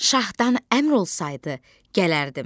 Şahdan əmr olsaydı, gələrdim.